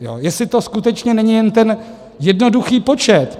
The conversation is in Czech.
Jestli to skutečně není jen ten jednoduchý počet.